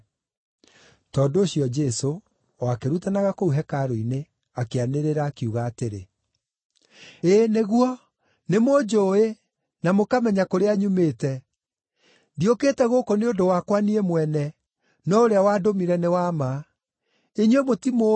Tondũ ũcio Jesũ, o akĩrutanaga kũu hekarũ-inĩ, akĩanĩrĩra, akiuga atĩrĩ; “Ĩĩ nĩguo, nĩmũnjũũĩ, na mũkamenya kũrĩa nyumĩte. Ndiũkĩte gũkũ nĩ ũndũ wakwa niĩ mwene, no ũrĩa wandũmire nĩ wa ma. Inyuĩ mũtimũũĩ,